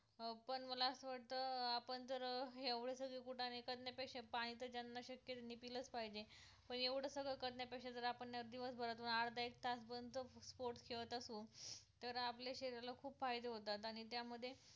पण जर अं एवढे सगळे कुटाणे करण्यापेक्षा पाणी तर ज्यांना शक्य त्यांनी पिल्लचं पाहिजे पण एवढं सगळं करण्या पेक्षा जर आपण दिवस भरातून अर्धा-एक तास पण तर sports खेळत असू तर आपल्या शरीर ला खूप फायदे होतात आणि त्यामध्ये